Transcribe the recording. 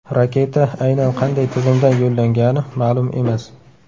Raketa aynan qanday tizimdan yo‘llangani ma’lum emas.